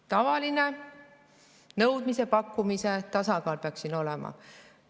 Tavaline nõudmise ja pakkumise tasakaal peaks siin olema.